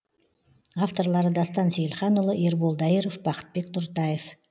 авторлары дастан сейілханұлы ербол дайыров бақытбек нұртаев